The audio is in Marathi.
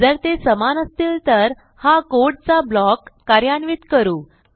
जर ते समान असतील तर हा कोडचा ब्लॉक कार्यान्वित करू